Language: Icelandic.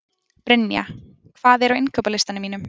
Brynja, hvað er á innkaupalistanum mínum?